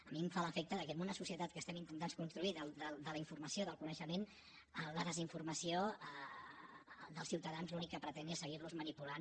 a mi em fa l’efecte que en una societat que estem intentant construir de la informació del coneixement la desinformació dels ciutadans l’únic que pretén és seguir los manipulant